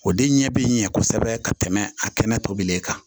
O de ɲɛ bɛ n ɲɛ kosɛbɛ ka tɛmɛ a kɛnɛ tobili kan